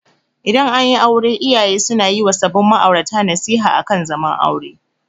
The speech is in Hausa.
Idan anyi aure iyaye suna yi wa sabin ma'aurata nasiha akan zaman aure.